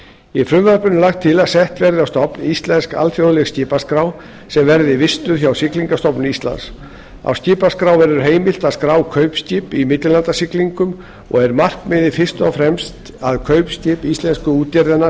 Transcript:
í frumvarpinu er lagt til að sett verði á stofn íslensk alþjóðleg skipaskrá sem verði vistuð hjá siglingastofnun íslands á skipaskrá verður heimilt að skrá kaupskip í millilandasiglingum og er markmiðið fyrst og fremst að kaupskip íslensku útgerðanna